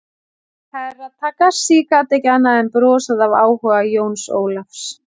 Herra Takashi gat ekki annað en brosað af áhuga Jóns Ólafs.